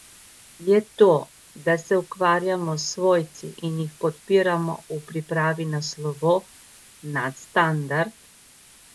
Je to, da se ukvarjamo s svojci in jih podpiramo v pripravi na slovo, nadstandard?